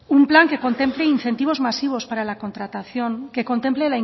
un plan que contemple incentivos masivos para la contratación que contemple